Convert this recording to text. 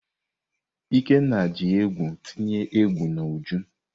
Ikenna ji egwu tinye egwu n'Uju.